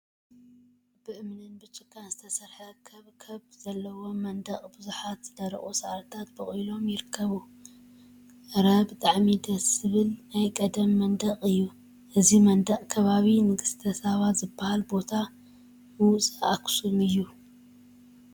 ብእምኒን ብጭቃን ዝተሰርሐ ከብከብ ዘለዎ መንደቅ ቡዙሓት ዝደረቁ ሳዕሪታት በቂሎም ይርከቡ፡፡ እረ! ብጣዕሚ ደስ ዝብል ናይ ቀደም መንደቅ እዩ፡፡ እዚ መንደቅ ከባቢ ንግስተ ሳባ ዝበሃል ቦታ ምውፃእ አክሱም እዩ፡፡